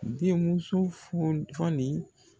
Den muso foni fɔɔnin